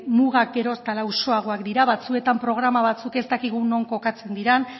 mugak gero eta lausoagoak dira batzuetan programa batzuk ez dakigu non kokatzen diren